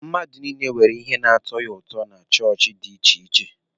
Mmadụ niile nwere ihe na-atọ ya ụtọ na chọọchị dị iche iche.